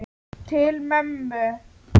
Til mömmu.